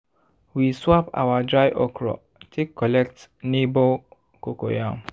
we swap our dry okra take collect neighbour cocoyam.